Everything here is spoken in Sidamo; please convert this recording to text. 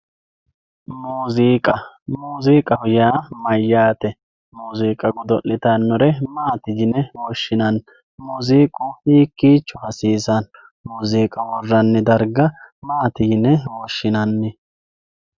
muuziiqa muuziiqaho yaa mayaate muuziiqa godo'litannore maati yine woshshinanni muuziiqu hikiicho hasiisanno muuziiqa woranni darga maati yine woshshinanni